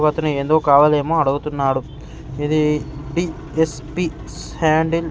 అతను ఏందో కావాలి ఏమో అడుగుతున్నాడు ఇది డి_ఎస్_పి హ్యాండ్ ఇన్ --